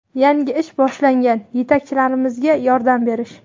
yangi ish boshlagan yetakchilarimizga yordam berish.